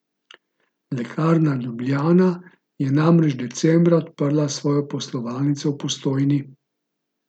Lekarna Ljubljana je namreč decembra odprla svojo poslovalnico v Postojni.